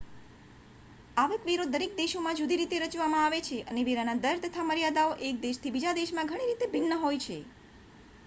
આવક વેરો દરેક દેશમાં જુદી રીતે રચવામાં આવે છે અને વેરાના દર તથા મર્યાદાઓ એક દેશથી બીજા દેશમાં ઘણી રીતે ભિન્ન હોય છે